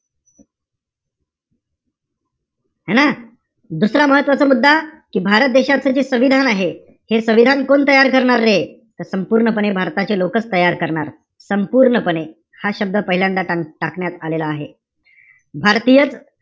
है ना? दुसरा महत्वाचा मुद्दा, कि भारत देशाचं जे संविधान आहे. हे संविधान कोण तयार करणारे? तर संपूर्णपणे भारताचे लोकच तयार करणार. संपूर्णपणे, हा शब्द पहिल्यांदा का~ टाकण्यात आलेला आहे. भारतीयच,